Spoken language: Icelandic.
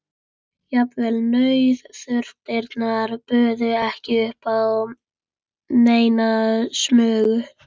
Jafnvel nauðþurftirnar buðu ekki upp á neina smugu.